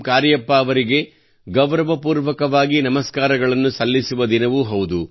ಕಾರ್ಯಪ್ಪ ಅವರಿಗೆ ಗೌರವಪೂರ್ವಕವಾಗಿ ನಮಸ್ಕಾರಗಳನ್ನು ಸಲ್ಲಿಸುವ ದಿನವೂ ಹೌದು